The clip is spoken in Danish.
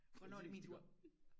hvornår er det min tur